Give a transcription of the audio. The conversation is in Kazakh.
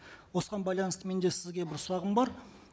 осыған байланысты менде сізге бір сұрағым бар